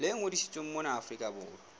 le ngodisitsweng mona afrika borwa